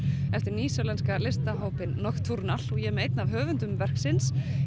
eftir nýsjálenska listahópinn Nocturnal og ég er með einn af höfundum verksins